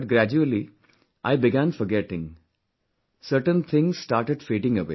But gradually, I began forgetting... certain things started fading away